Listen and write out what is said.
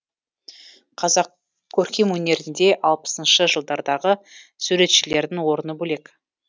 қазақ көркемөнерінде алпысыншы жылдардағы суретшілердің орны бөлек